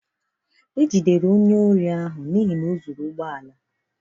A nwụchiri onye ohi a ji egbe zuo ụgbọ ala.